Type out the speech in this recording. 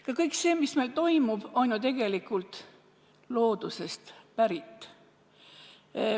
Ka kõik see, mis meil toimub, on ju tegelikult loodusest pärit.